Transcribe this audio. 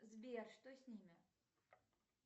сбер что с ними